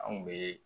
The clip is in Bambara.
Anw bɛ